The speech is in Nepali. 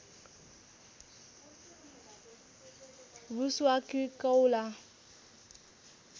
भूस वा किर्कौंला